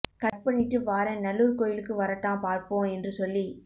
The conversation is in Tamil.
கட் பண்ணிட்டு வாறேன் நல்லூர் கோயிலுக்கு வரட்டாம் பார்ப்பம் என்று சொல்லி